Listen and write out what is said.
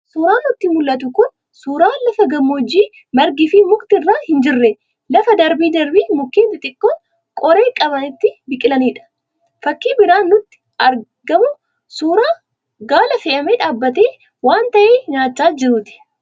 Suuraan nutti mul'atu kun suuraa lafa gammoojjii margii fi mukti irra hin jirre, lafa darbee darbee mukeen xixiqqoon qoree qaban itti biqilanidha. Fakii biraan nutti argamu suuraa gaala fe'amee dhaabatee waan ta'e nyaachaa jiruuti.